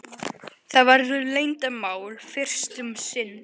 Það verður leyndarmál fyrst um sinn.